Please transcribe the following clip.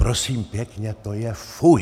Prosím pěkně to je fuj!